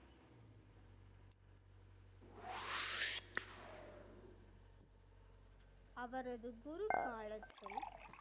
அவர் குரு காலத்தில்